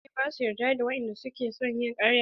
Mutane bash yarda da wadanda suke son yi ƙarya.